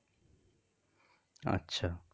আচ্ছা.